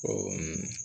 Ɔ